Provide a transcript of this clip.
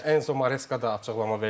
Enzo Maresca da açıqlama verdi.